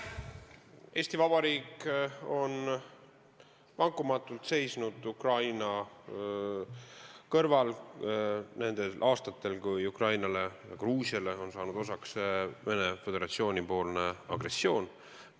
Eesti Vabariik on vankumatult seisnud Ukraina kõrval nendel aastatel, kui Ukrainale ja Gruusiale on saanud osaks Venemaa Föderatsiooni agressioon.